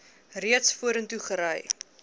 reeds vorentoe gery